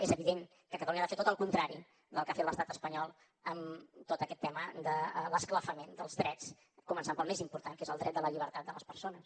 és evident que catalunya ha de fer tot el contrari del que ha fet l’estat espanyol en tot aquest tema de l’esclafament dels drets començant pel més important que és el dret de la llibertat de les persones